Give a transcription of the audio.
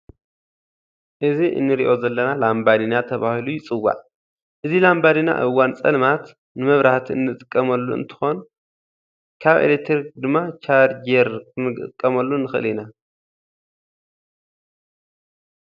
እዚ እንሪኦ ዘለና ላምባዲና ተባሂሉ ይፅዋዕ። እዚ ላምባዲና ኣብ እዋን ፀልማት ንመብራህቲ እንጥቀመሉ እንትኮን ካብ ኤሌትሪክ ድማ ቻርጅር ጌር ክንጥቀመሉ እንክእል እዩ።